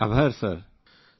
group captain આભાર sir